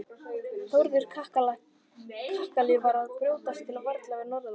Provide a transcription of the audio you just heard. Þórður kakali var að brjótast til valda hér norðanlands.